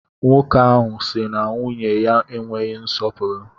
Nwoke ahụ si na nwunye ya enweghị nsọpụrụ.